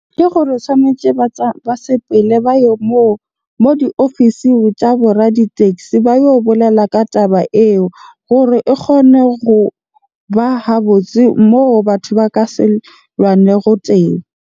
Ke gore tshwanetje ba ba sepele ba yo moo. Moo diofising tsa bo raditaxi ba yo bolela ka taba eo gore e kgone goba ha botse moo batho ba ka se lwane teng.